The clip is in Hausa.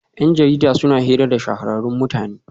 Yan jarida suna hira da shahararrun mutane